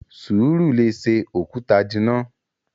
Sùúrù lè ṣe òkúta jìnnà!